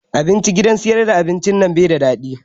Abinci gidan sayar da abinci nan bai da daɗi